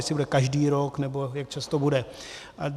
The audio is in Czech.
Jestli bude každý rok, nebo jak často bude.